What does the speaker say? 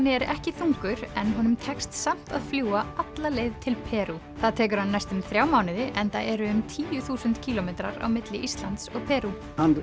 er ekki þungur en honum tekst samt að fljúga alla leið til Perú það tekur hann næstum þrjá mánuði enda eru um tíu þúsund kílómetrar á milli Íslands og Perú